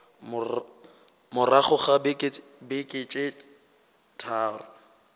morago ga beke tše tharo